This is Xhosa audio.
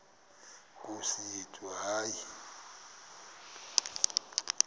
nkosi yethu hayi